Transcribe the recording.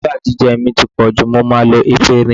Ṣúgà jíjẹ mi ti pọ̀ jù, mo máa lo efinrin.